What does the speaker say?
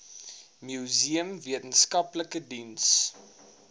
museum wetenskaplike diens